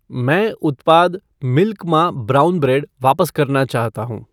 मैं उत्पाद मिल्क मा ब्राउन ब्रेड वापस करना चाहता हूँ